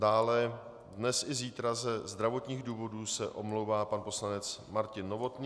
Dále dnes i zítra ze zdravotních důvodů se omlouvá pan poslanec Martin Novotný.